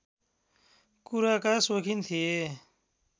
कुराका सोखिन थिए